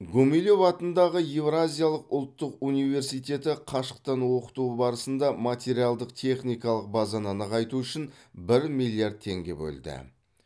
гумилев атындағы еуразиялық ұлттық университеті қашықтан оқыту барысында материалдық техникалық базаны нығайту үшін бір миллиард теңге бөлді